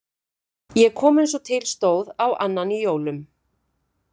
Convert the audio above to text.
Ég kom eins og til stóð á annan jólum.